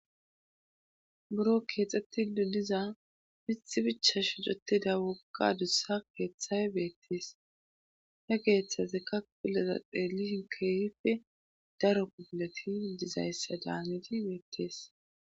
buro keexxetti de7iza mithi bicha shoccetida wogga adussa keeththay beettees he geeththazika pudeza xeellushin keefippe daro pubileti dizayssa daanidi beettees